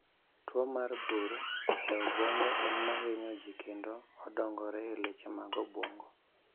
Tuo mar bur e obwongo en mahinyo jii kendo odongore e leche mag obwongo